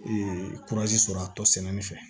sɔrɔ a tɔ sɛnɛni fɛ